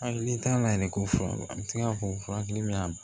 Hali n'i t'a la yɛrɛ ko fura an bi se ka fɔ furakɛli min y'a